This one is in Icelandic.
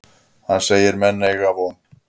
Hann segir menn eygja von.